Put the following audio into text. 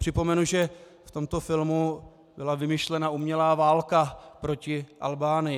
Připomenu, že v tomto filmu byla vymyšlena umělá válka proti Albánii.